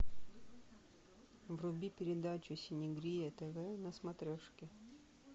вруби передачу синегрия тв на смотрешке